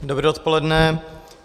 Dobré odpoledne.